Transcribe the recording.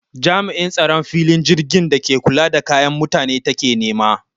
Jam'in tsaron filin jirgin da ke kula da kayan mutane take nema